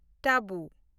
ᱛᱟᱵᱩ